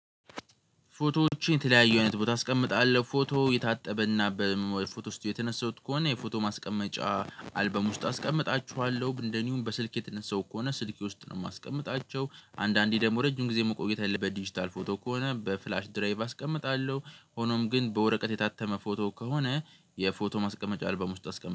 ፎቶዎችን የተለያዩ አይነት ቦታ አስቀምጣለሁ ፎቶ የታጠበና በምያምር ፎቶ ስቱድዮ የተነሳሁት ከሆነ የፎቶ ማስቀመጫ አልበም ውስጥ አስቀምጣችኋለሁ እንደዚሁም በስልኬ ተነሳው ከሆነ ስልኬ ውስጥ ነው የማስቀምጣቸው። አንዳንዴ ደግሞ ረጅም ጊዜ መቆየት ያለበት ዲጂታል ፎቶ ከሆነ በፍላሽ ድራይቭ አስቀምጣለሁ። ሆኖም ግን በወረቀት የታተመ ፎቶ ከሆነ የፎቶ ማስቀመጫ አልባም ውስጥ አስቀም